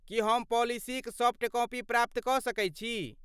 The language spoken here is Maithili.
की हम पॉलिसीक सॉफ्ट कॉपी प्राप्त कऽ सकैत छी?